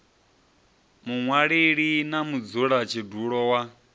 muṅwaleli na mudzula tshidulo wa